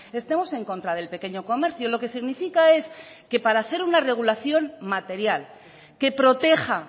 estemos en contra del pequeño comercio lo que significa es que para hacer una regulación material que proteja